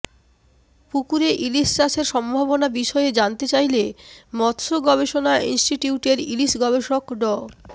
পুকুরে ইলিশ চাষের সম্ভাবনা বিষয়ে জানতে চাইলে মৎস্য গবেষণা ইনস্টিটিউটের ইলিশ গবেষক ড